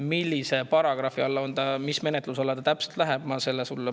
Millise paragrahvi all see on ja mis menetluse alla see täpselt läheb, ma palun sulle täpsustada.